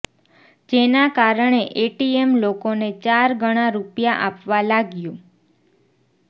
જેના કારણે એટીએમ લોકોને ચાર ગણા રૂપિયા આપવા લાગ્યું